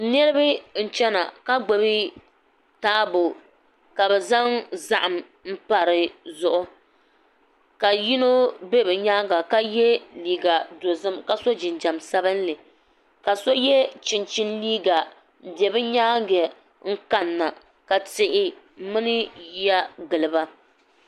Niriba n-chana ka gbubi taabo ka bɛ zaŋ zahim m-pa di zuɣu ka yino be bɛ nyaaŋa ka ye leega dɔzim ka sɔ jinjɛm sabinli ka so ye chinchini leega m-be bɛ nyaaŋa n-kanina ka tihi mini ya gili ba.